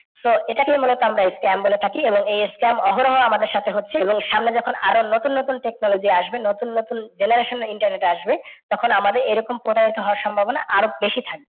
তো এটাকেই মুলত আমরা scam বলে থাকি। এই scam অহরহ আমাদের সাথে হচ্ছে এবং সামনে যখন আর ও নতুন নতুন technology আসবে, নতুন নতুন generation internet আসবে, তখন আমাদের এরকম প্রতারনা হওয়ার সম্ভাবনা আর ও বেশি থাকবে।